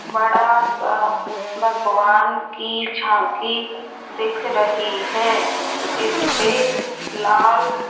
बड़ा सा भगवान की झांकी दिख रही है जिसपे लाल--